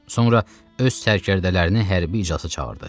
Sonra öz sərkərdələrini hərbi iclasa çağırdı.